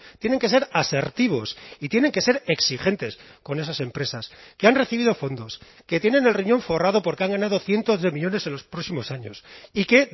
tienen que ser asertivos y tienen que ser exigentes con esas empresas que han recibido fondos que tienen el riñón forrado porque han ganado cientos de millónes en los próximos años y que